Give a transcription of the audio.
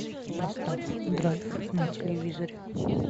поставь драйв на телевизоре